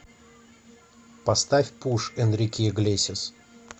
поставь пуш энрике иглесиас